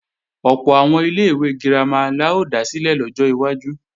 Ọ̀pọ̀ àwọn ilé-ìwé girama la ó dá sílẹ̀ lọ́jọ́ iwájú